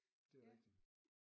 Det er jo rigtigt